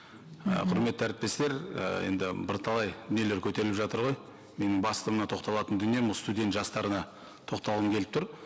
і құрметті әріптестер і енді бірталай нелер көтеріліп жатыр ғой менің басты мына тоқталатын дүнием осы студент жастарына тоқталғым келіп тұр